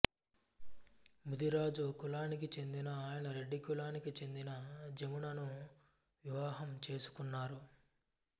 ముదిరాజు కులానికి చెందిన ఆయన రెడ్డి కులానికి చెందిన జమునను వివాహం చేసుకున్నారు